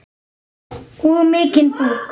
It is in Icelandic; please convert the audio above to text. Og mikinn búk.